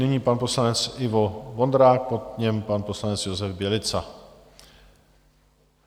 Nyní pan poslanec Ivo Vondrák, po něm pan poslanec Josef Bělica.